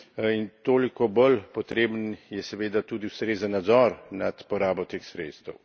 in toliko bolj potreben je, seveda, tudi ustrezen nadzor nad porabo teh sredstev.